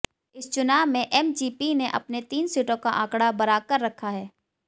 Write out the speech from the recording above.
इस चुनाव में एमजीपी ने अपने तीन सीटों का आंकड़ा बराकर रखा है